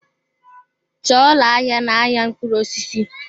Chọọ ụlọ ahịa n-ahịa mkpụrụ osisi!